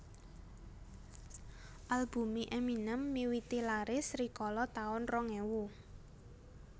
Albume Eminem miwiti laris rikala taun rong ewu